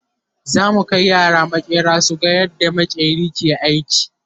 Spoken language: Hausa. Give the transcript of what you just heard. zamu Kai yara maƙera suga yadda maƙeri ke aiki